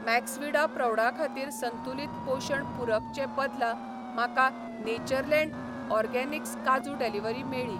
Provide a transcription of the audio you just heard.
Maxvida प्रौढां खातीर संतुलित पोशण पूरक चे बदला, म्हाका नेचरलँड ऑरगॅनिक्स कांजू डिलिव्हरी मेळ्ळी.